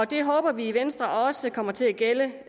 det håber vi i venstre også kommer til at gælde